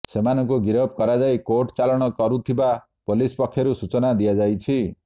ସେମାନଙ୍କୁ ଗିରଫ କରାଯାଇ କୋର୍ଟ ଚାଲାଣ କରିଥିବା ପୋଲିସ ପକ୍ଷରୁ ସୂଚନା ଦିଆଯାଇଛି